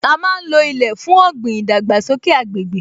A má ń lo ilẹ̀ fún ọ̀gbìn, ìdàgbàsókè agbègbè